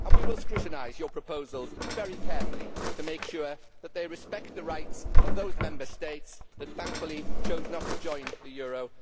We will scrutinise your proposals very carefully to make sure that they respect the rights of those Member States that thankfully chose not to join the euro.